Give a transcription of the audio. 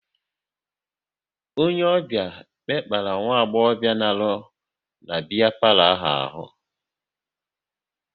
Onye ọbịa mekpara nwagbobia na-arụ na biya palo ahụ arụ